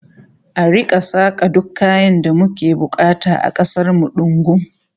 An rika saka duk kayan da muke bukata a kasar mu dungum